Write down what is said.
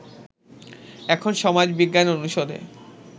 এখন সমাজ বিজ্ঞান অনুষদে